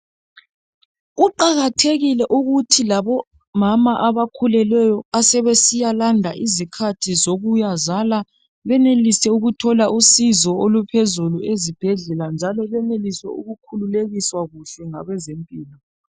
Kuqakathekile ukuthi labomama abakhulelweyo asebesiyalanda izikhathi zokubeletha benelise ukuthola uncedo oluphezulu ezibhedlela njalo benelise ukukhululekiswa kuhle ngabezempilo.